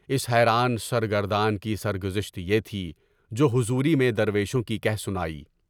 اس حیران سرگردان کی سرگزشت یہ تھی جو حضوری میں درویشوں کی کہہ سنائی۔